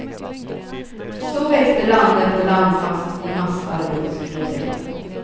Så växte land efter land fast i massarbetslösheten.